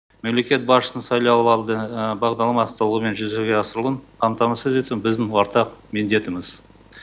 мемлекет басшысының сайлауалды бағдарламасы толығымен жүзеге асырылуын қамтамасыз ету біздің ортақ міндетіміз